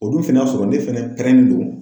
O dun fɛnɛ y'a sɔrɔ ne fɛnɛ pɛrɛni do.